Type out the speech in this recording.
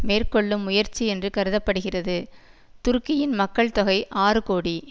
மேற்கொள்ளும் முயற்சி என்று கருத படுகிறது துருக்கியின் மக்கள் தொகை ஆறு கோடி